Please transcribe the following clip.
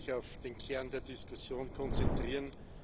Ich möchte mich auf den Kern der Diskussion konzentrieren.